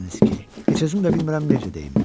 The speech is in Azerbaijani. deyirdiniz ki, heç özüm də bilmirəm necə deyim.